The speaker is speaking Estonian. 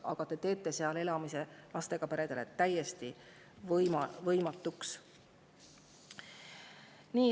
Aga teie teete maal elamise lastega peredele täiesti võimatuks.